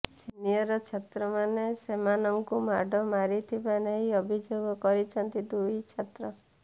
senior ଛାତ୍ରମାନେ ସେମାନଙ୍କୁ ମାଡ ମାରିଥିବା ନେଇ ଅଭିଯୋଗ କରିଛନ୍ତି ଦୁଇ ଛାତ୍ର